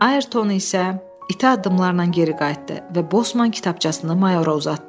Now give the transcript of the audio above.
Ayrton isə itə adımlarla geri qayıtdı və bosman kitabçasını mayora uzatdı.